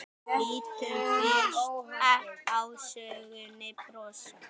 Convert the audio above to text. Lítum fyrst á sögnina brosa